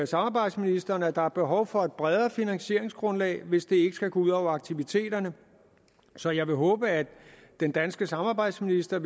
samarbejdsministeren at der er behov for et bredere finansieringsgrundlag hvis det ikke skal gå ud over aktiviteterne så jeg vil håbe at den danske samarbejdsminister